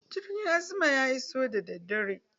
Jirgin azman ya iso daddadare.